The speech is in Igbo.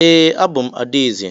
Ee, abụ m adaeze.